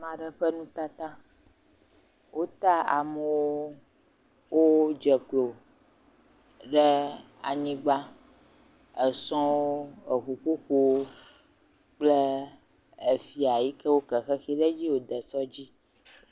Ame aɖe ƒe nutata, wota amewo wodze klo ɖe anyigba sɔŋ eŋuƒoƒo kpole efia si woke xexi ɖe edzi.